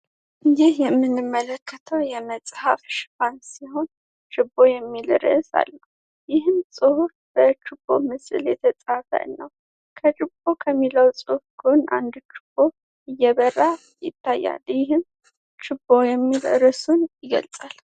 ይህ የምንመለከተው የመፅሐፍ ሽፋን ሲሆን ችቦ የሚል ርእስ አለው። ይህም ፅሁፍ ከችቦ ምስል የተፃፈ ነው። ከችቦ ከሚለው ጎን አንድ ችቦ እየበራ ይታያል ይህም ችቦ የሚል ርዕስን ይገልጻል።